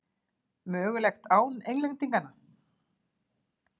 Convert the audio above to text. Mögulegt án Englendinga?